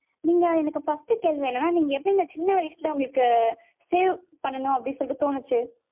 நீங்க எனக்கு first கேள்வி என்னனா நீங்க எப்படி சின்ன வயசுல உங்களுக்கு save பண்ணனும் அப்படி சொல்லிட்டு தோனுச்சு.